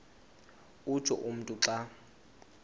utsho umntu xa